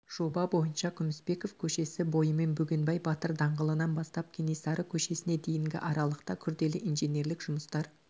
жоба бойынша күмісбеков көшесі бойымен бөгенбай батыр даңғылынан бастап кенесары көшесіне дейінгі аралықта күрделі инженерлік жұмыстар